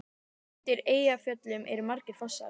Undir Eyjafjöllum eru margir fossar.